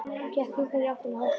Gekk hikandi í áttina að hópnum.